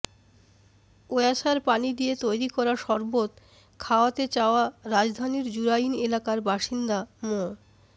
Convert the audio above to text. ওয়াসার পানি দিয়ে তৈরি করা শরবত খাওয়াতে চাওয়া রাজধানীর জুরাইন এলাকার বাসিন্দা মো